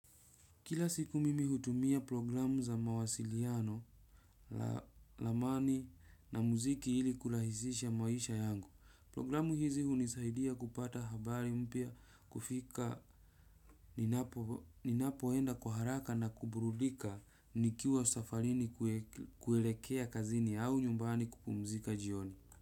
Kila siku mimi hutumia programu za mawasiliano, ramani na muziki ili kurahisisha maisha yangu. Porogramu hizi hunisaidia kupata habari mpya kufika ninapoenda kwa haraka na kuburudika nikiwa safarini kuelekea kazini au nyumbani kupumzika jioni.